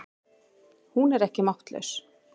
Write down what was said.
Hún er ekki máttlaus.